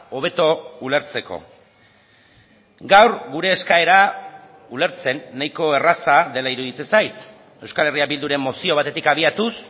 hobeto ulertzeko gaur gure eskaera ulertzen nahiko erraza dela iruditzen zait euskal herria bilduren mozio batetik abiatuz